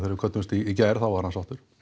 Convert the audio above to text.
við kvöddumst í gær þá var hann sáttur